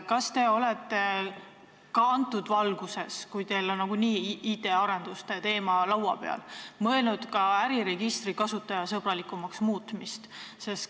Kas te olete selles valguses, kuna teil on nagunii IT-arenduste teema laual, mõelnud ka äriregistri kasutajasõbralikumaks muutmisele?